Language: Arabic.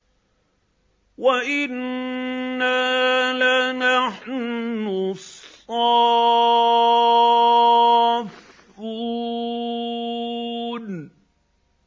وَإِنَّا لَنَحْنُ الصَّافُّونَ